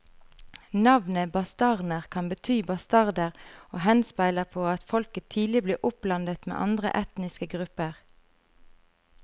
Navnet bastarner kan bety bastarder og henspeiler på at folket tidlig ble oppblandet med andre etniske grupper.